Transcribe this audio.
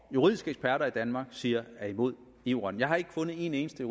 juridiske eksperter i danmark siger er imod eu retten jeg har ikke fundet en eneste